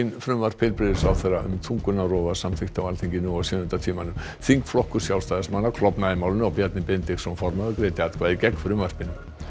frumvarp heilbrigðisráðherra um þungunarrof var samþykkt á Alþingi nú á sjöunda tímanum þingflokkur Sjálfstæðismanna klofnaði í málinu og Bjarni Benediktsson greiddi atkvæði gegn frumvarpinu